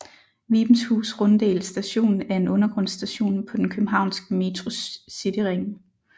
Vibenshus Runddel Station er en undergrundsstation på den københavnske Metros cityring